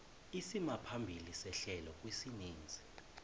isimaphambili sehlelo kwisininzi